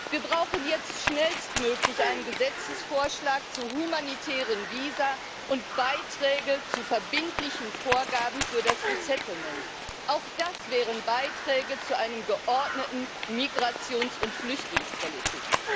Wir brauchen jetzt schnellstmöglich einen Gesetzesvorschlag zu humanitären Visa und Beiträge zu verbindlichen Vorgaben für das resettlement Auch das wären Beiträge zu einer geordneten Migrations und Flüchtlingspolitik.